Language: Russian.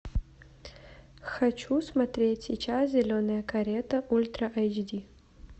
хочу смотреть сейчас зеленая карета ультра эйч ди